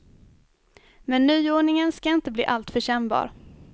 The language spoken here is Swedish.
Men nyordningen ska inte bli alltför kännbar.